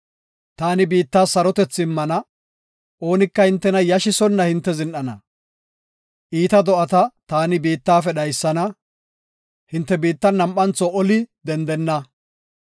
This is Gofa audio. Taani biittas sarotethi immana; oonika hintena yashisonna hinte zin7ana. Iita do7ata taani biittafe dhaysana; hinte biittan nam7antho oli dendenna.